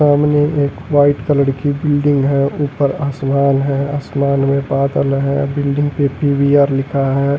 सामने एक white colour की बिल्डिंग है ऊपर आसमान है आसमान में बादल है बिल्डिंग पे पी_वी_आर लिखा है।